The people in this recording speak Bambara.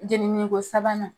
Jenini ko sabanan.